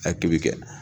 A ki bi kɛ